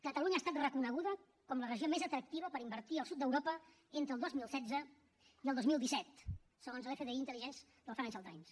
catalunya ha estat reconeguda com la regió més atractiva per invertir al sud d’europa entre el dos mil setze i el dos mil disset segons l’fdi intelligence del financial times